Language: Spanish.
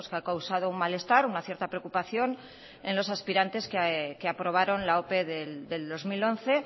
ha causado un malestar una cierta preocupación en los aspirantes que aprobaron la ope del dos mil once